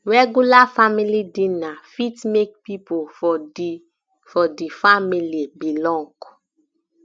regular family dinner fit make pipo for di for di family belong